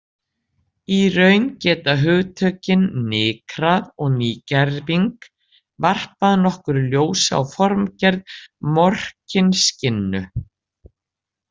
Í raun geta hugtökin nykrað og nýgerving varpað nokkru ljósi á formgerð Morkinskinnu.